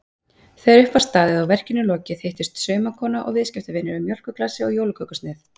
Þegar upp var staðið og verkinu lokið hittust saumakona og viðskiptavinur yfir mjólkurglasi og jólakökusneið.